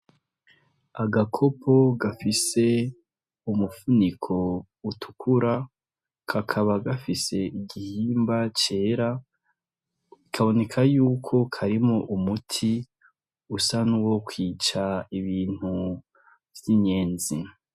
Agakopo gafise umupfuniko utukura, kakaba gafise igihimba cera ikaboneka yuko karimo umuti usan'uwo kwica ibintu vy'inyenzi.